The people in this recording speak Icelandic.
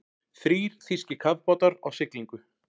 Þrír þýskir kafbátar á siglingu.